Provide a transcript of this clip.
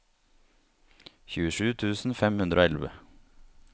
tjuesju tusen fem hundre og elleve